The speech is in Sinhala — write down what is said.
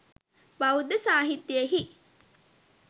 බෞද්ධ සාහිත්‍යයෙහි